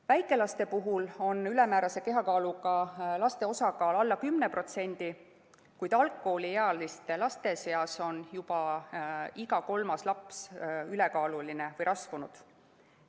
Väikelaste puhul on ülemäärase kehakaaluga laste osakaal alla 10%, kuid algkooliealiste laste seas on juba iga kolmas laps ülekaaluline või rasvunud.